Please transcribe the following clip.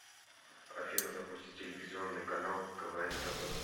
афина запусти телевизионный канал квн тв